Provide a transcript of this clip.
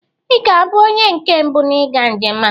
Ị ga-abụ onye nke mbụ n'ịga njem a.